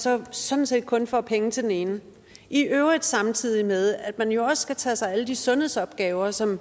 sådan sådan set kun får penge til den ene i øvrigt samtidig med at man jo også skal tage sig af alle de sundhedsopgaver som